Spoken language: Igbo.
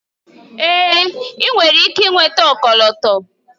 Èé! ị nwere ike nweta ọkọlọtọ.